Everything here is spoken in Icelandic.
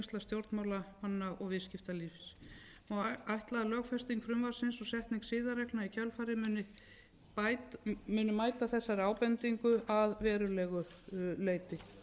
stjórnmálamanna og viðskiptalífs má ætla að lögfesting frumvarpsins og setning siðareglna í kjölfarið muni mæta þessari ábendingu að verulegu leyti